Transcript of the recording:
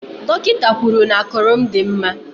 Dọkịta kwuru n'ákụ̀rụ̀ m dị mma.